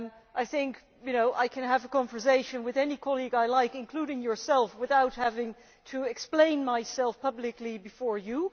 I think I can have a conversation with any colleague I like, including yourself, without having to explain myself publicly before you.